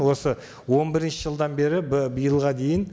осы он бірінші жылдан бері биылға дейін